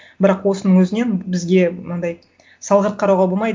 бірақ осының өзінен бізге мынандай салғырт қарауға болмайды